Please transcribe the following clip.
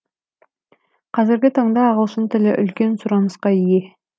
қазіргі таңда ағылшын тілі үлкен сұрынысқа ие